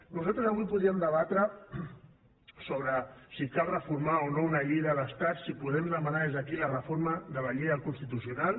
nosaltres avui podríem debatre sobre si cal reformar o no una llei de l’estat si podem demanar des d’aquí la reforma de la llei del constitucional